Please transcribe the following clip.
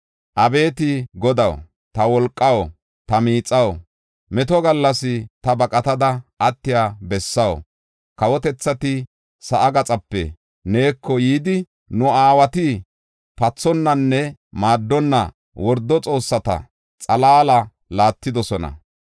Abeeti Godaw, ta wolqaw, ta miixaw, meto gallas ta baqatada attiya bessaw, kawotethati sa7aa gaxape neeko yidi, “Nu aawati pathonnanne maaddonna wordo xoossata xalaala laattidosona.